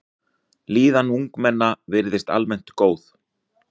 Líðan ungmenna virðist almennt góð.